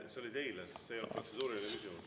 See oli teile, sest see ei olnud protseduuriline küsimus.